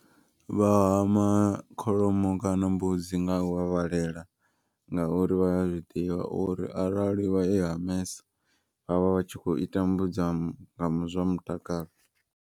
Vha hama kholomo kana mbudzi nga u vhavhalela. Ngauri vhaya zwiḓivha uri arali vha i hamesa vhavha vhatshi kho i tambudza nga zwa mutakalo.